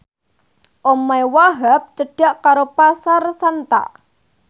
omahe Wahhab cedhak karo Pasar Santa